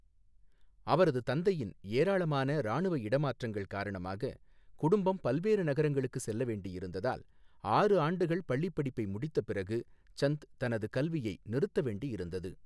அவரது தந்தையின் ஏராளமான இராணுவ இடமாற்றங்கள் காரணமாக, குடும்பம் பல்வேறு நகரங்களுக்கு செல்ல வேண்டியிருந்ததால், ஆறு ஆண்டுகள் பள்ளிப் படிப்பை முடித்த பிறகு சந்த் தனது கல்வியை நிறுத்த வேண்டியிருந்தது.